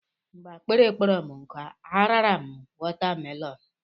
Mgbe akpịrị kpọrọ m nkụ, a rara m wọtamelọn.